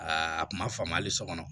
Aa a kun ma faamu hali sɔ kɔnɔ